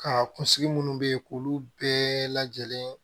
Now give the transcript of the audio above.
Ka kunsigi munnu be yen k'olu bɛɛ lajɛlen